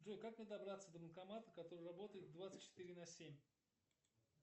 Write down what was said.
джой как мне добраться до банкомата который работает двадцать четыре на семь